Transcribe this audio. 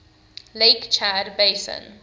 lake chad basin